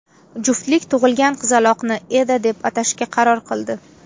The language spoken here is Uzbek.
Juftlik tug‘ilgan qizaloqni Eda deb atashga qaror qildi.